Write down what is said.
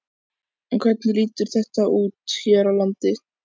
En hvernig lítur þetta út hér á landi?